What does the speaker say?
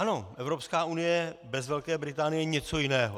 Ano, Evropská unie bez Velké Británie je něco jiného.